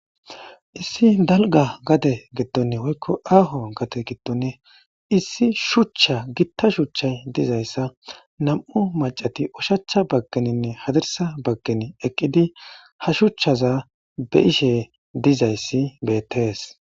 issi dalga gade giddon woykko aaho gade giddon issi shuchcha githa shuchchay dizayssa nam7u macati ushacha baggeninne hadirsa baggen eqqidi ha shuchchaza be7ishe dizayssi beethes